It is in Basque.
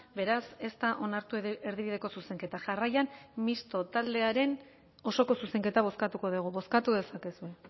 beraz ez da onartu erdibideko zuzenketa jarraian misto taldearen osoko zuzenketa bozkatuko dugu bozkatu dezakezue